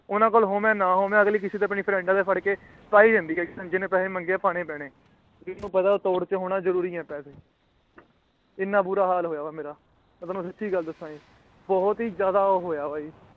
ਉਹਨਾਂ ਕੋਲ ਹੋਵੇ ਨਾ ਹੋਵੇ ਅਗਲੀ ਕਿੱਸੇ ਫ਼੍ਰੇੰਡ੍ਸ ਕੋਲੋਂ ਫੜ ਕੇ ਪਾ ਹੀ ਦਿੰਦੀ ਹੈ ਕਿ ਜਿੰਨੇ ਪੈਸੇ ਮੰਗੇ ਹੈ ਪਾਣੇ ਪੈਣੇ ਆ ਇੰਨਾ ਬੁਰਾ ਹਾਲ ਹੋਇਆ ਪਾਇਆ ਹੈ ਮੇਰਾ ਮੈਂ ਤੁਹਾਨੂੰ ਸਾਚੀ ਗੱਲ ਦੱਸਿਆ ਜੀ ਬਹੁਤ ਹੀ ਜ਼ਿਆਦਾ ਉਹ ਹੋਇਆ ਹੈ ਜੀ